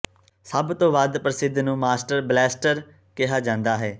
ਸਭ ਤੋਂ ਵੱਧ ਪ੍ਰਸਿੱਧ ਨੂੰ ਮਾਸਟਰ ਬਲੈਸਟਰ ਕਿਹਾ ਜਾਂਦਾ ਹੈ